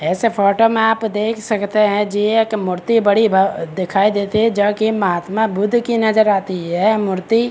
इस फोटो में आप देख सकते है जी एक मूर्ति बड़ी भ दिखाई देती जो की महात्मा बुद्ध की नजर आती ये मूर्ति --